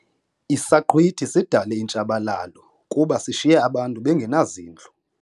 Isaqhwithi sidale intshabalalo kuba sishiye abantu bengenazindlu.